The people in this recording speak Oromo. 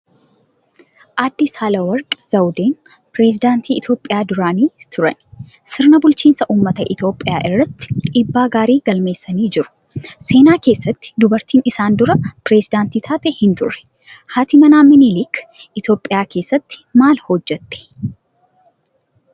Aadde Saale Worqi Zawudeen piresidaantii Itoophiyaa duraanii turani. Sirna bulchiinsa uummata Itoophiyaa irratti dhiibbaa gaarii galmeessanii jiru. Seenaa keessatti dubartiin isaan dura Piresidaantii taate hin turre. Haati manaa Miniliik Itoophiyaa keessatti maal hojjette?